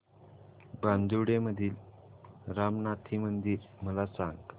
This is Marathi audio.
बांदिवडे मधील रामनाथी मंदिर मला सांग